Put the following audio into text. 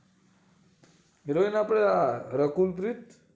heroin આપડે આ રકુલ પ્રીત